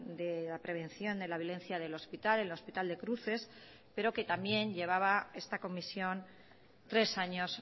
de la prevención de la violencia del hospital el hospital de cruces pero que también llevaba esta comisión tres años